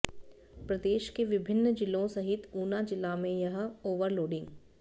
प्रदेश के विभिन्न जिलों सहित ऊना जिला में यह ओवरलोडिंग